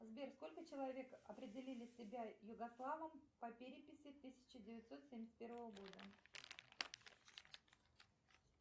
сбер сколько человек определили себя югославом по переписи тысяча девятьсот семьдесят первого года